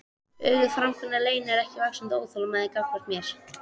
Öguð framkoma leynir ekki vaxandi óþolinmæði gagnvart mér.